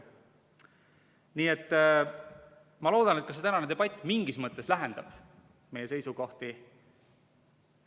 Nii et ma loodan, et ka see tänane debatt mingis mõttes lähendab meie seisukohti.